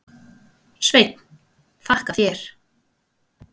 Sveinn: Þakka þér.